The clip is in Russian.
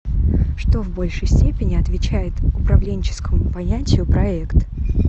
что в большей степени отвечает управленческому понятию проект